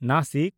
Nashik